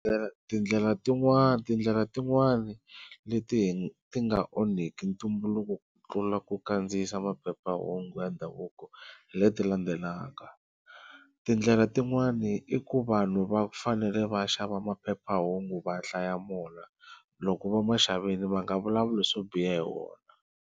Tindlela tin'wana tindlela tin'wani leti ti ti nga onhki ntumbuluko ku tlula ku kandziyisa maphephahungu ya ndhavuko hi leti landzelaka, tindlela tin'wani i ku vanhu va fanele va xava maphephahungu va hlaya mona loko va ma xavini va nga vulavuli swo biha hi wona.